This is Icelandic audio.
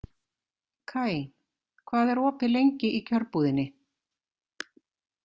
Kaj, hvað er opið lengi í Kjörbúðinni?